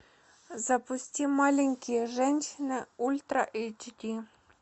запусти маленькие женщины ультра эйч ди